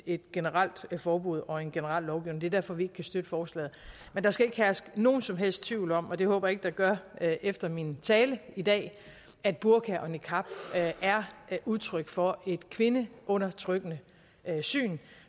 et generelt forbud og en generel lovgivning det er derfor vi ikke kan støtte forslaget men der skal ikke herske nogen som helst tvivl om og det håber jeg ikke der gør efter min tale i dag at burka og niqab er udtryk for et kvindeundertrykkende syn